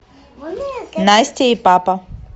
настя и папа